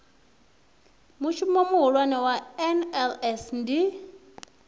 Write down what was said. mushumo muhulwane wa nls ndi